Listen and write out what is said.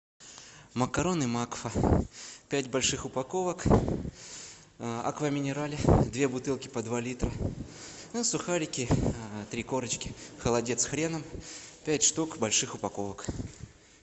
макароны макфа пять больших упаковок аква минерале две бутылки по два литра и сухарики три корочки холодец с хреном пять штук больших упаковок